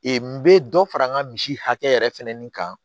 n bɛ dɔ fara n ka misi hakɛ yɛrɛ fɛnɛ nin kan